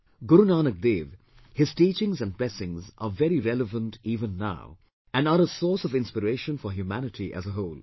Guru Nanak Dev, his teachings and blessings are very relevant even now and are a source of inspiration for humanity as a whole